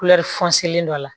dɔ la